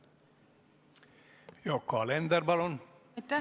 Yoko Alender, palun!